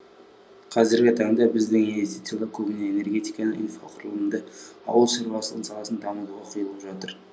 қазіргі таңда біздің инвестициялар көбіне энергетиканы инфрақұрылымды ауыл шаруашылығы саласын дамытуға құйылып жатыр